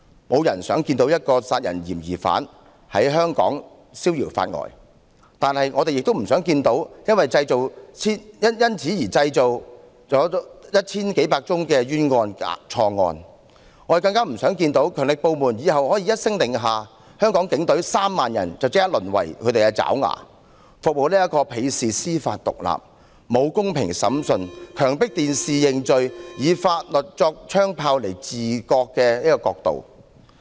沒有人想看到一個殺人疑犯在香港消遙法外，但我們也不想看到因修例而製造千百宗冤假錯案，更不想看到強力部門日後一聲令下，香港警隊3萬人便立即淪為他們的爪牙，服務這個鄙視司法獨立、沒有公平審訊、強迫在電視前認罪，並以法律作槍炮來治國的國度。